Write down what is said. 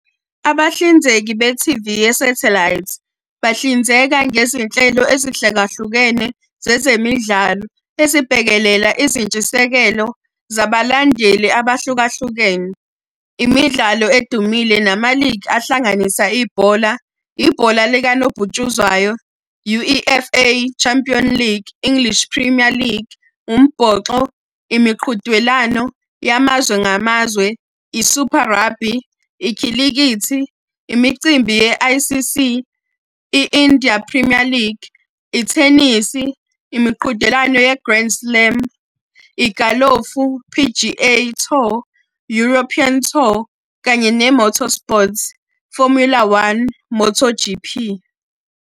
Abahlinzeki be-T_V yesathelayithi, bahlinzeka ngezinhlelo ezihlukahlukene zezemidlalo ezibhekelela izintshisekelo zabalandeli abahlukahlukene. Imidlalo edumile nama-league ahlanganisa ibhola. Ibhola likanobhutshuzwayo, U_E_F_A Champion League, English Premier League. Umbhoxo, imiqhudelwano yamazwe ngamazwe, i-Super Rugby. Ikhilikithi, imicimbi ye-I_C_C, i-India Premier League. Ithenisi, imiqhudelwano ye-Grand Slam. Igalofu, P_G_A Tour, European Tour. Kanye ne-Motorsport Formula One, MotoG_P.